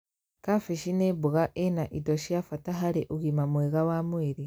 Kambĩji nĩ mboga ĩna indo cia bata harĩ ũgima mwega wa mwĩrĩ